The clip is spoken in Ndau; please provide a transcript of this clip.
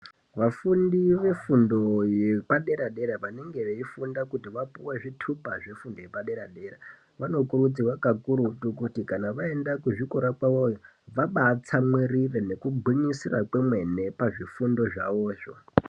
Vafundi vefundo yepadera-dera vanenge veifunda kuti vapuwe zvitupa zvefundo yepadera-dera , vanokurudzirwa kakurutu kuti vaenda kuzvikora kwavoyo vabatsamwirire nekugwinyisira kwemene pazvifundo zvavozvo.